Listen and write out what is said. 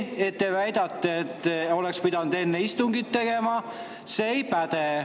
Teie väide, et seda oleks pidanud enne istungit tegema, ei päde.